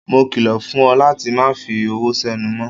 Mo kilo fún ọ láti má fi ọwọ senu mó.